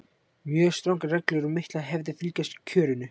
Mjög strangar reglur og miklar hefðir fylgja kjörinu.